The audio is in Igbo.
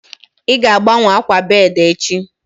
Ị ga-agbanwe akwa bedi echi